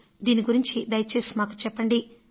దీని గురించి దయచేసి మాకు చెప్పండి అని